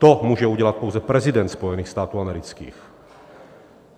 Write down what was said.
To může udělat pouze prezident Spojených států amerických.